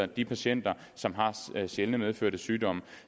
de patienter som har sjældne medfødte sygdomme